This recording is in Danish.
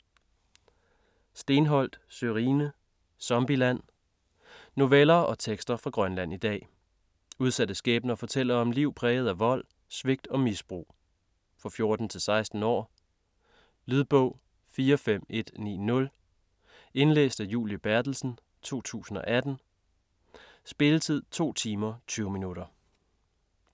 Steenholdt, Sørine: Zombieland Noveller og tekster fra Grønland i dag. Udsatte skæbner fortæller om liv præget af vold, svigt og misbrug. For 14-16 år. Lydbog 45190 Indlæst af Julie Berthelsen, 2018. Spilletid: 2 timer, 20 minutter.